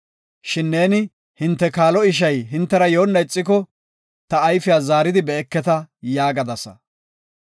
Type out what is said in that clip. Shin neeni, ‘Hinte kaalo ishay hintera yoona ixiko, ta ayfiya zaari be7eketa’ yaagadasa.